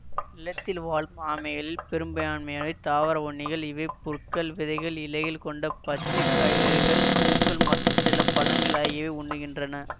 நிலத்தில் வாழும் ஆமைகளில் பெரும்பயான்மையானவை தாவர உண்ணிகள் இவை புற்கள் விதைகள் இலைகள் கொண்ட பச்சை காய்கறிகள் பூக்கள் மற்றும் சில பழங்கள் ஆகியவையே உண்ணுகின்றன